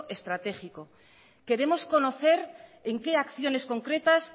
estratégico queremos conocer en qué acciones concretas